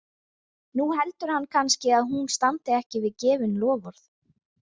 Nú heldur hann kannski að hún standi ekki við gefin loforð.